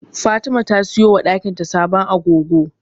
Fatima ta siyo wa dakin ta sabon agogo.